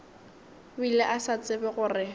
bile a sa tsebe gore